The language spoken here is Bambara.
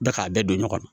Bɛɛ k'a bɛɛ don ɲɔgɔn na